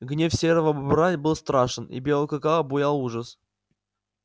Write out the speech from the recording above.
гнев серого бобра был страшен и белого клыка обуял ужас